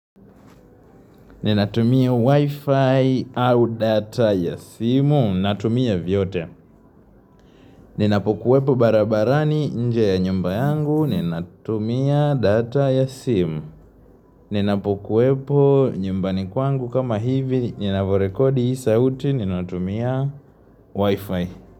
Ni natumia wifi au data ya simu natumia vyote ni napokuwepo barabarani nje ya nyumba yangu ni natumia data ya simu ni napokuwepo nyumbani kwangu kama hivi ninavorekodi hii sauti ni natumia wifi.